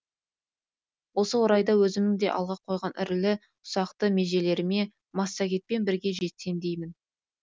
осы орайда өзімнің де алға қойған ірілі ұсақты межелеріме массагетпен бірге жетсем деймін